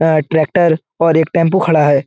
वहाँ एक ट्रैक्टर और एक टेंपू खड़ा है।